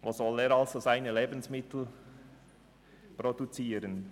Wo soll er dann noch seine Lebensmittel produzieren?